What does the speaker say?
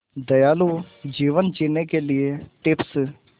दयालु जीवन जीने के लिए टिप्स